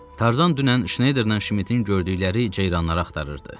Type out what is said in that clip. Tarzan dünən Şneyderlə Şmidin gördükləri ceyranları axtarırdı.